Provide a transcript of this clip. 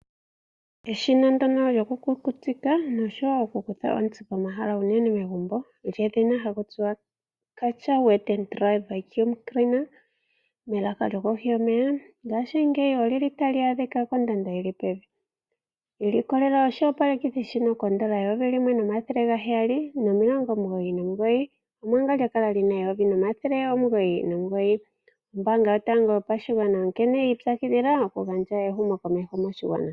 Eshina ndyoka lyokukukutika nosho wo okukutha ontsi pomahala unene megumbo lyedhina "Karcher Wet and Dry Vacuum Cleaner" melaka lyokohi yomeya, ngaashingeyi otali adhika kondando yi li pevi. I likolelela oshiopalekithi shika koodola dhaNamibia eyovi limwe omathele gaheyali nomilongo omugoyi nomugoyi (N$1 799), omanga lya kala li na oodola dhaNamibia eyovi limwe omathele omugoyi nomilongo omugoyi nomugoyi (N$1 999). Ombaanga yotango yopashigwana onkene yi ipyakidhila okugandja ehumokokeho moshigwana.